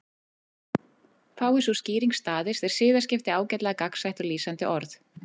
Fái sú skýring staðist er siðaskipti ágætlega gagnsætt og lýsandi orð.